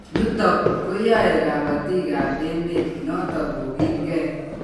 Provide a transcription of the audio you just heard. Yutok koyae kabatik ab emet notok kokilgei